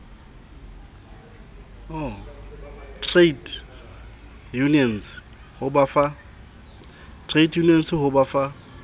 trade unions ho ba fa